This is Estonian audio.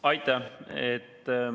Aitäh!